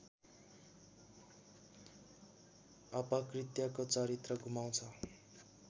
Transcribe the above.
अपकृत्यको चरित्र गुमाउँछ